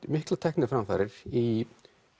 miklar tækniframfarir í